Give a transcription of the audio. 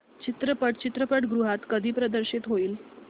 चित्रपट चित्रपटगृहात कधी प्रदर्शित होईल